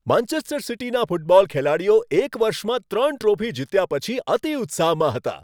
Manchester સિટીના football ખેલાડીઓ એક વર્ષમાં ત્રણ ટ્રોફી જીત્યા પછી અતિ ઉત્સાહમાં હતા.